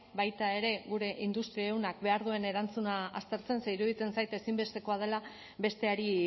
baita ere gure industria ehunak behar duen erantzuna aztertzen ze iruditzen zait ezinbestekoa dela besteari